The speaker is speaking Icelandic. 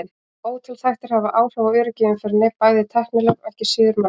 Ótal þættir hafa áhrif á öryggi í umferðinni, bæði tæknilegir og ekki síður mannlegir.